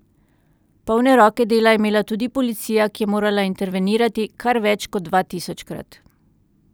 Polne roke dela je imela tudi policija, ki je morala intervenirati kar več kot dva tisoč krat.